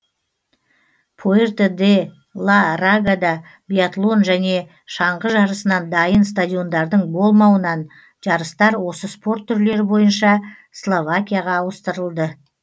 пуэрто де ла рагада биатлон және шаңғы жарысынан дайын стадиондардың болмауынан жарыстар осы спорт түрлері бойынша словакияға ауыстырылды